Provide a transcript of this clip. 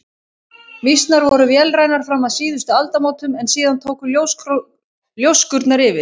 Mýsnar voru vélrænar fram að síðustu aldamótum en síðan tóku ljóskurnar yfir.